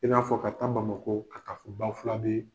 I n'a fɔ ka taa Bamako, ka taa fo Bafulabe